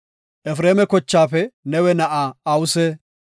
Efreema kochaafe Nawe na7aa Awuse;